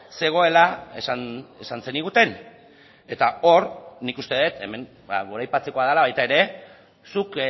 zegoela esan zeniguten eta hor nik uste dut hemen goraipatzekoa dela baita ere zuk